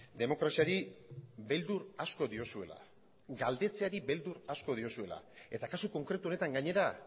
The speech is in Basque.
demokraziari beldur asko diozuela galdetzeari beldur asko diozuela eta kasu konkretu honetan gainera